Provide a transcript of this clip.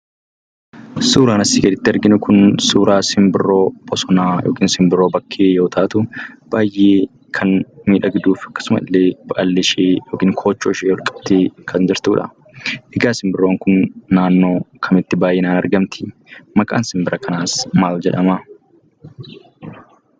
Suuraan asii gaditti arginu kun suuraa simbirroo bosonaa yookiin simbirroo bakkee yoo taatu baay'ee kan miidhagduufi akkasumallee baalleeshee yookiin koochooshee olqabdee kan jirtudha. Egaa simbirroon kun naannoo kamitti baayyinaan argamti? Maqaan simbira kanaas maal jedhama?